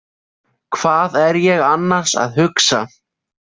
Hvað er ég annars að hugsa?